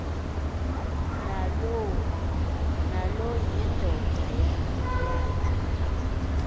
nalo yindoda yakhe